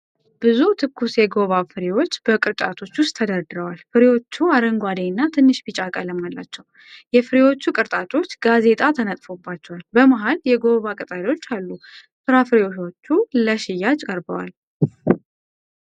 ብዙ ትኩስ የጉዋቫ ፍሬዎች በቅርጫቶች ውስጥ ተደርድረዋል። ፍሬዎቹ አረንጓዴ እና ትንሽ ቢጫ ቀለም አላቸው። የፍሬዎቹ ቅርጫቶች ጋዜጣ ተነጥፎባቸዋል። በመሃል የጉዋቫ ቅጠሎች አሉ። ፍራፍሬዎቹ ለሽያጭ ቀርበዋል።